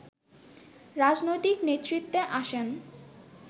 রাজনৈতিক নেতৃত্বে আসেন